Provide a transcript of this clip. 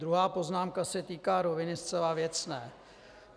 Druhá poznámka se týká roviny zcela věcné.